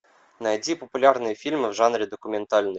найти популярные фильмы в жанре документальный